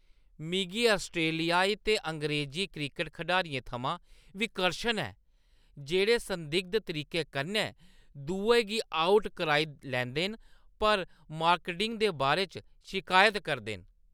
मिगी ऑस्ट्रेलियाई ते अंग्रेज़ी क्रिकट खडारियें थमां विकर्शन ऐ जेह्ड़े संदिग्ध तरीके कन्नै दुए गी आउट कराई लैंदे न पर मांकडिंग दे बारे च शिकायत करदे न।